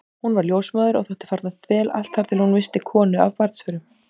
Hún varð ljósmóðir og þótti farnast vel allt þar til hún missti konu af barnsförum.